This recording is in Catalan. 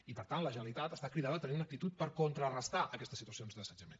i per tant la generalitat està cridada a tenir una actitud per contrarestar aquestes situacions d’assetjament